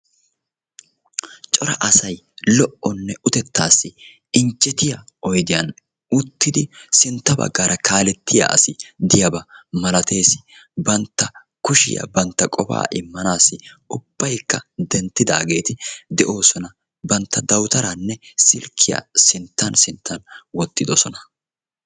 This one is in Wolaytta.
cora asay loonne utteta injjetiyaa oyddiyaan uttid sinttaa baggara kaaletiyaa asi de'iyaaba malatees; bantta kushiyaa bantta qofaa immanassi ubbaykka denttidaageti de'oosona; bantta awutaranne silkkiyaa ubbaykka sinttan sinttan wottidoosona.